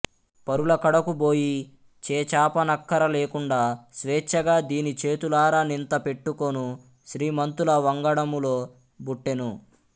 పరులకడకు బోయి చేచాపనక్కఱలేకుండ స్వేచ్ఛగా దిని చేతులార నింత పెట్టుకొను శ్రీమంతుల వంగడములో బుట్టెను